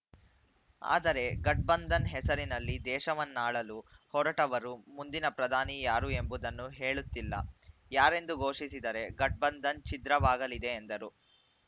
ಆದರೆ ಘಟಬಂಧನ್‌ ಹೆಸರಿನಲ್ಲಿ ದೇಶವನ್ನಾಳಲು ಹೊರಟವರು ಮುಂದಿನ ಪ್ರಧಾನಿ ಯಾರು ಎಂಬುದನ್ನು ಹೇಳುತ್ತಿಲ್ಲ ಯಾರೆಂದು ಘೋಷಿಸಿದರೆ ಘಟಬಂಧನ್‌ ಛಿದ್ರವಾಗಲಿದೆ ಎಂದರು